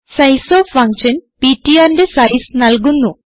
sizeof function ptrന്റെ size നല്കുന്നു